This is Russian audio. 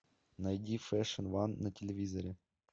найди фэшн уан на телевизоре